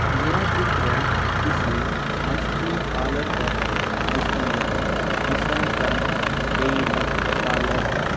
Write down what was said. यह चित्र किसी आइस क्रीम पार्लर का है जिसका नाम विशाखा डेयरी पार्लर है।